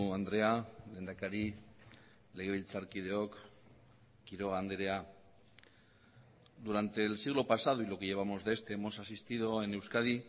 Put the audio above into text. andrea lehendakari legebiltzarkideok quiroga andrea durante el siglo pasado y lo que llevamos de este hemos asistido en euskadi